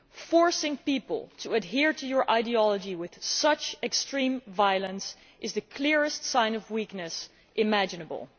Forcing people to adhere to one's ideology with such extreme violence is the clearest sign of weakness imaginable.